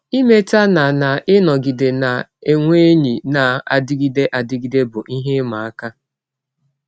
Imeta na na ịnọgide na - enwe enyi na - adịgide adịgide bụ ihe ịma aka.